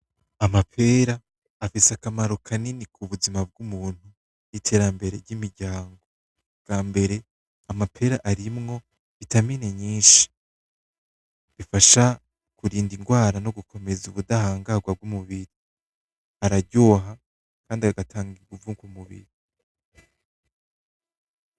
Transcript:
Amapera afise akamaro kanini kubuzima bw'umuntu n'iterambere ry'imiryango ubwambere: amapera arimwo vitamine nyinshi, ifasha kurinda ingwara no gukomeza ubudahangarwa bw'umubiri, araryoha kandi agatanga inguvu kumubiri.